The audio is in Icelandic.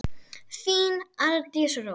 Þín, Arndís Rós.